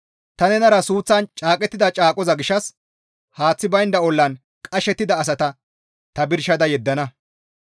Ta nenara suuththan caaqettida caaqoza gishshas haaththi baynda ollan qashettida asata ta birshada yeddana.